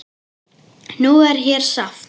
Nú er hér safn.